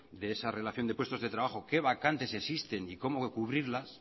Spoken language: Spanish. de esa relación de puestos de trabajo qué vacantes existen y cómo cubrirlas